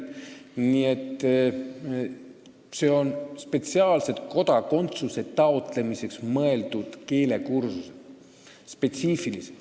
Nii et see on spetsiaalselt kodakondsuse taotlemiseks mõeldud keelekursus.